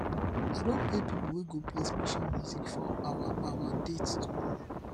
i don pay pipo wey go play special music for our our date tomorrow